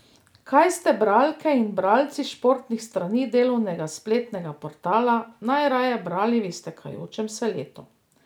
Kaj ste bralke in bralci športnih strani Delovega spletnega portala najraje brali v iztekajočem se letu?